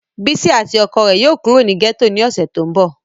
Bisi ati ọkọ rẹ yóò kuro ni gẹto ni ọsẹ to nbọ.